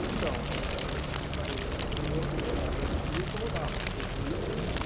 Então, é aquilo que eu te falei, eu eu me incomodava, porque eu teria que melhorar.